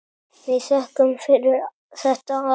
Við þökkum fyrir þetta allt.